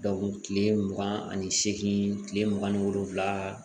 kile mugan ani seegin kile mugan ni wolonwula